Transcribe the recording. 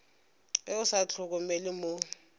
ge o sa hlokomele mo